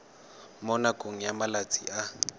mo nakong ya malatsi a